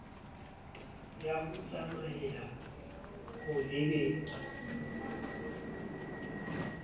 ya ho tsamaela ho lebeng